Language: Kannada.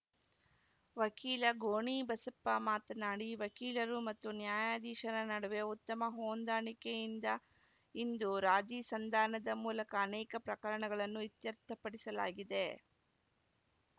ವಕೀಲ ಗೋಣಿಬಸಪ್ಪ ಮಾತನಾಡಿ ವಕೀಲರು ಮತ್ತು ನ್ಯಾಯಾಧೀಶರ ನಡುವೆ ಉತ್ತಮ ಹೊಂದಾಣಿಕೆಯಿಂದ ಇಂದು ರಾಜಿ ಸಂಧಾನದ ಮೂಲಕ ಅನೇಕ ಪ್ರಕರಣಗಳನ್ನು ಇತ್ಯರ್ಥಪಡಿಸಲಾಗಿದೆ